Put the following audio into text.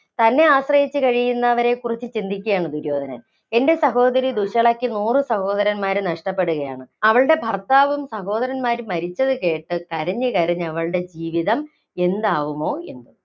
തന്നെ ആശ്രയിച്ചു കഴിയുന്നവരെക്കുറിച്ച് ചിന്തിക്കുകയാണ് ദുര്യോധനൻ. എന്‍റെ സഹോദരി ദുശ്ശളയ്ക്കു നൂറു സഹോദരന്മാരെ നഷ്ടപ്പെടുകയാണ്. അവളുടെ ഭര്‍ത്താവും, സഹോദരന്മാരും മരിച്ചത് കേട്ട് കരഞ്ഞു കരഞ്ഞു അവളുടെ ജീവിതം എന്താവുമോ എന്തോ?